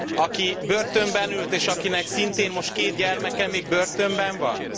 Aki börtönben ült, és akinek szintén most 2 gyermeke még börtönben van?